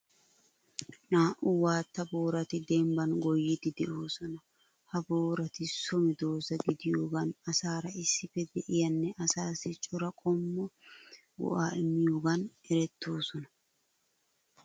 Naa''u waatta boorati dembban goyiiddi de'oosona. Ha boorati so medoosa gidiyogaan asaara issippe de'iyanne asaassi cora qommo go'aa immiyogan erettoosona.